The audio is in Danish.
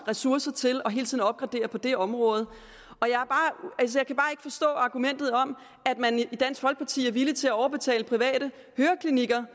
ressourcer til og hele tiden opgradere på det område jeg kan bare ikke forstå argumentet om at man i dansk folkeparti er villig til at overbetale private høreklinikker